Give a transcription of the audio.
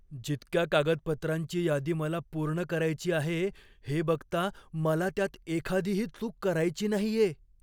जितक्या कागदपत्रांची यादी मला पूर्ण करायची आहे हे बघता, मला त्यात एखादीही चूक करायची नाहीये.